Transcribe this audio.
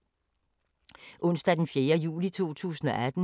Onsdag d. 4. juli 2018